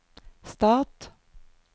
stat